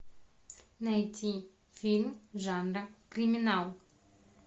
найти фильм жанра криминал